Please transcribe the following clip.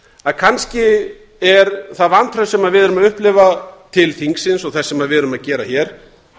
að kannski er það vantraust sem við erum að upplifa til þingsins og þess sem við erum að gera hér